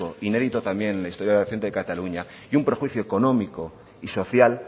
inédito también en la historia reciente de cataluña y un perjuicio económico y social